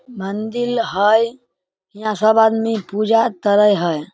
मंदील है हीया सब आदमी पूजा करे हेय ।